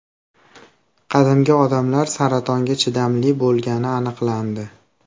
Qadimgi odamlar saratonga chidamli bo‘lgani aniqlandi.